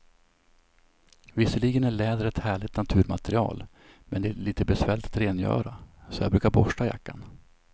Visserligen är läder ett härligt naturmaterial, men det är lite besvärligt att rengöra, så jag brukar borsta jackan.